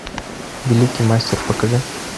великий мастер покажи